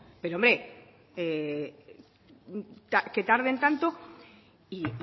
pero hombre que tarden tanto y